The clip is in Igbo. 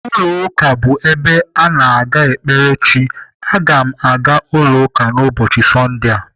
Ụlọ ụka bụ ebe a na-aga ekpere Chi. Aga m aga ụlọ ụka n'ụbọchị Sọndee a.